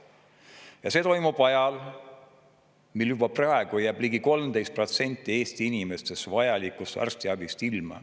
Ja see toimub ajal, kui juba praegu jääb ligi 13% Eesti inimestest vajalikust arstiabist ilma.